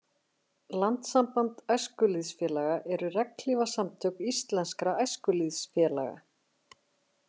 Landssamband æskulýðsfélaga eru regnhlífasamtök íslenskra æskulýðsfélaga.